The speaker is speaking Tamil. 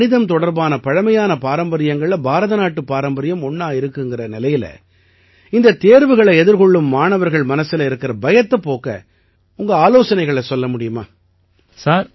உலகத்தில கணிதம் தொடர்பான பழைமையான பாரம்பரியங்கள்ல பாரதநாட்டுப் பாரம்பரியம் ஒண்ணா இருக்குங்கற நிலையில இந்த தேர்வுகளை எதிர்கொள்ளும் மாணவர்கள் மனசுல இருக்கற பயத்தைப் போக்க உங்க ஆலோசனைகளை சொல்ல முடியுமா